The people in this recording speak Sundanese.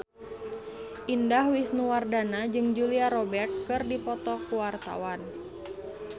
Indah Wisnuwardana jeung Julia Robert keur dipoto ku wartawan